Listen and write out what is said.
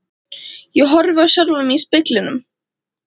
Ég horfi á sjálfan mig í speglinum.